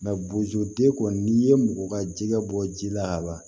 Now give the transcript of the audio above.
bozoden kɔni n'i ye mɔgɔ ka jɛgɛ bɔ ji la ka ban